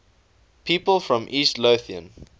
people from east lothian